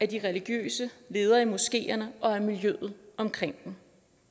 de religiøse ledere i moskeerne og miljøet omkring dem